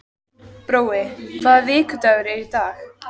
Brói, hvaða vikudagur er í dag?